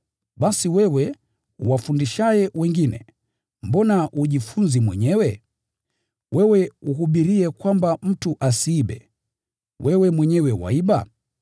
basi wewe, uwafundishaye wengine, mbona hujifunzi mwenyewe? Wewe uhubiriye kwamba mtu asiibe, wewe mwenyewe waiba?